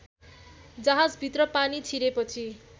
जहाजभित्र पानी छिरेपछि